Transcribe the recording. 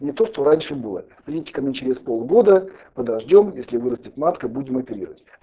не то что раньше было придите ко мне через полгода подождём если вырастет матка будем оперировать